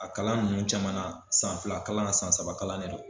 A kalan nunnu camana na, san fila kalan san saba kalan de don.